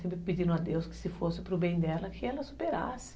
Sempre pedindo a Deus que se fosse para o bem dela, que ela superasse.